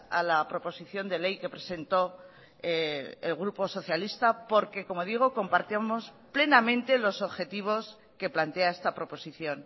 a la proposición de ley que presentó el grupo socialista porque como digo compartimos plenamente los objetivos que plantea esta proposición